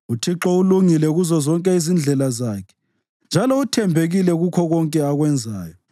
UThixo ulungile kuzozonke izindlela zakhe njalo uthembekile kukho konke akwenzayo.